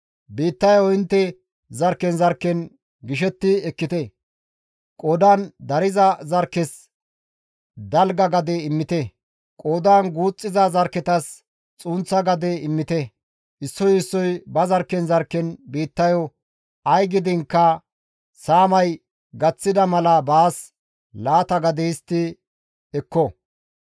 Biittayo intte zarkken zarkken gishetti ekkite; qoodan dariza zarkkes dalga gade immite; qoodan guuxxiza zarkketas xunththa gade immite; issoy issoy ba zarkken zarkken biittayo ay gidiinkka saamay gaththida mala baas laata gade histti ekko.